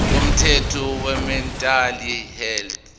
komthetho wemental health